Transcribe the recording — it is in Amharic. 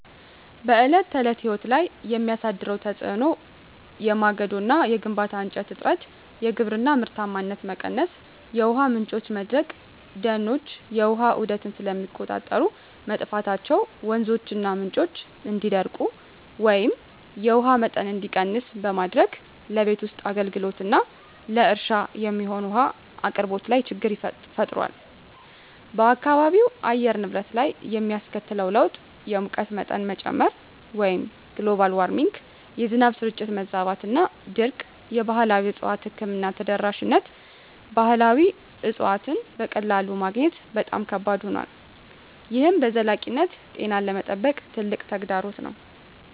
በዕለት ተዕለት ሕይወት ላይ የሚያሳድረው ተጽዕኖ የማገዶ እና የግንባታ እንጨት እጥረት፣ የግብርና ምርታማነት መቀነስ፣ የውሃ ምንጮች መድረቅ፦ ደኖች የውሃ ዑደትን ስለሚቆጣጠሩ፣ መጥፋታቸው ወንዞችና ምንጮች እንዲደርቁ ወይም የውሃ መጠን እንዲቀንስ በማድረግ ለቤት ውስጥ አገልግሎትና ለእርሻ የሚሆን ውሃ አቅርቦት ላይ ችግር ፈጥሯል። በአካባቢው አየር ንብረት ላይ የሚያስከትለው ለውጥ _የሙቀት መጠን መጨመር (Global Warming) -የዝናብ ስርጭት መዛባትና ድርቅ የባህላዊ እፅዋት ሕክምና ተደራሽነት ባህላዊ እፅዋትን በቀላሉ ማግኘት በጣም ከባድ ሆኗል፣ ይህም በዘላቂነት ጤናን ለመጠበቅ ትልቅ ተግዳሮት ነው።